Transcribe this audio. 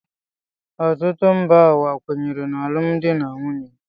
Ọtụtụ mba ụwa kwenyere n’alụmdi na nwunye